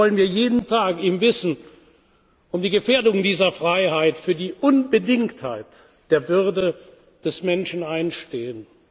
Deshalb wollen wir jeden Tag im Wissen um die Gefährdung dieser Freiheit für die Unbedingtheit der Würde des Menschen einstehen.